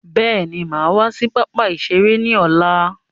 Bẹ́ẹ̀ni, máa wá sí pápá ìṣeré ni ọ̀la.